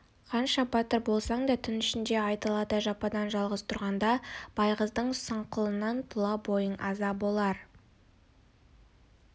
қанша батыр болсаң да түн ішінде айдалада жападан-жалғыз тұрғанда байғыздың сұңқылынан тұла бойың аза болар